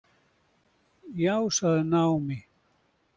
Já, sagði Naomi.